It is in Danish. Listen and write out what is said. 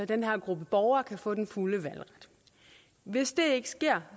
den her gruppe borgere kan få den fulde valgret hvis det ikke sker